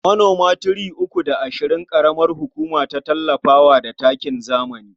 Manoma three uku da ashirin ƙaramar hukuma ta tallafa wa da takin zamani.